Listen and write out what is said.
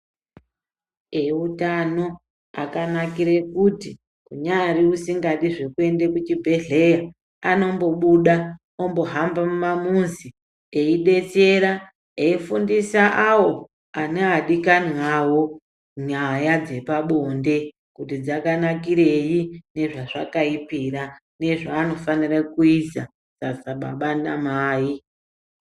Eutano akanakire kuti kunyari usingadi zvekuende kuchibhedhlera anombobuda eihamba mumazi eidetsera, eifundisaawo ane adikani awo nyaya dzepande kuti dzkanakirei nezvazvakaipira nezvaanofanite kuza sababa namai.